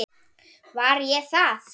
Var ég það?